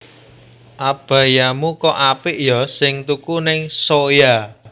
Abayamu kok apik yo sing tuku ning Zoya